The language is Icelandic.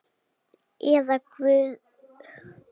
Eða guð má vita hvað.